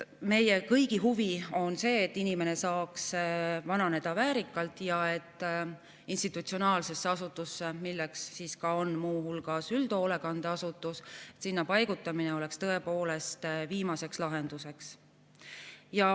Meie kõigi huvi on see, et inimene saaks vananeda väärikalt ja et paigutamine institutsionaalsesse asutusse, milleks on muu hulgas üldhoolekandeasutus, oleks tõepoolest viimane lahendus.